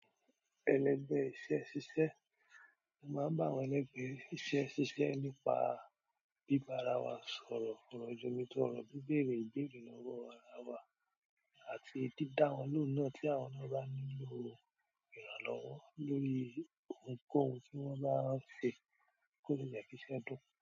Ẹ̀lẹ́gbẹ̀ iṣẹ́ ṣíṣe. Mo máa n bá wọn ní ẹ̀legbẹ̀ iṣẹ́ ṣíṣe nípa bíbara wa sọ̀rọ̀ foro jomitoro oro, bíbèrè ìbéèrè lọ́wọ́ ara wa àti dídá wọn lóhùn náà tí àwọn nàa bá nílò ìrànlọ́wọ́ lórí ohunkóhun tí wọ́n bá ń ṣe kóle je kiṣẹ́ dùn.